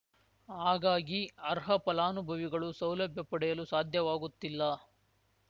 ಹಾಗಾಗಿ ಅರ್ಹ ಫಲಾನುಭವಿಗಳು ಸೌಲಭ್ಯ ಪಡೆಯಲು ಸಾಧ್ಯವಾಗುತ್ತಿಲ್ಲ